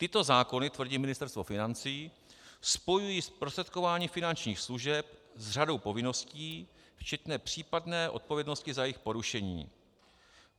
- Tyto zákony, tvrdí Ministerstvo financí, spojují zprostředkování finančních služeb s řadou povinností včetně případné odpovědnosti za jejich porušení.